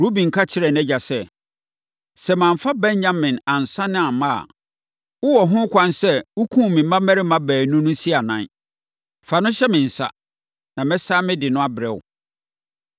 Ruben ka kyerɛɛ nʼagya sɛ, “Sɛ mamfa Benyamin ansane amma a, wowɔ ho kwan sɛ wokum me mmammarima baanu no si anan. Fa no hyɛ me nsa, na mɛsane mede no abrɛ wo.”